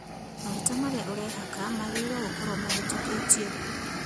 Maguta marĩa ũrehaka magĩrĩirwo gũkorwo mahĩtũkĩtio